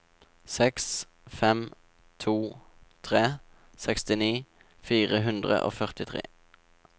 seks fem to tre sekstini fire hundre og førtitre